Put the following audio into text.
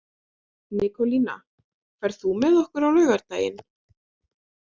Nikólína, ferð þú með okkur á laugardaginn?